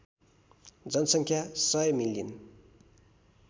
जनसङ्ख्या १०० मिलियन